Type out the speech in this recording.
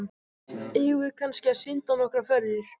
Eigum við kannski að synda nokkrar ferðir?